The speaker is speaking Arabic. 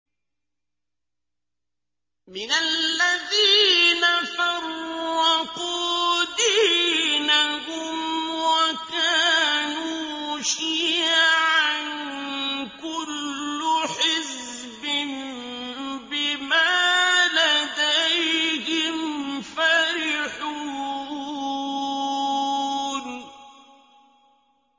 مِنَ الَّذِينَ فَرَّقُوا دِينَهُمْ وَكَانُوا شِيَعًا ۖ كُلُّ حِزْبٍ بِمَا لَدَيْهِمْ فَرِحُونَ